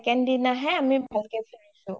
second দিনাহে আমি ভালকে ফুৰিছো